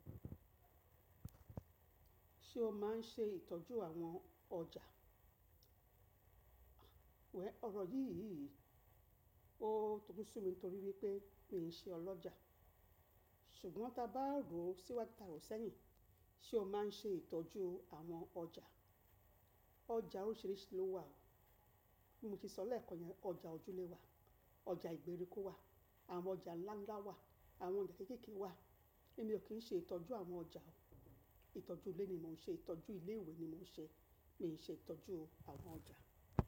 Ṣé o máa ń ṣe ìtọ́jú àwọn ọjà? Well, ọ̀rọ̀ yìí yìí ó toju sún mi torí wípé mi ò ṣe ọlọ́jà. Ṣùgbọ́n ta bá rò ó sí wá ta rò ó sẹ́yìn. Ṣé o máa ń ṣe ìtọ́jú àwọn ọjà? Ọjà oríṣìíríṣìí ló wà. Bí mo ti sọ lẹ́ẹ̀kan ni ọjà ojúlẹ̀ wà, ọjà ìgbèríko wà, àwọn ọjà ńlá ńlá wà, àwọn ọjà kéékèèké wà. Èmi ò kí ń ṣe ìtọ́jú àwọn ọjà o. Ìtọ́jú ilé ni mò ń ṣe, ìtọ́jú ilé ìwé ni mò ń ṣe, mi ò ṣe ìtọ́jú àwọn ọjà.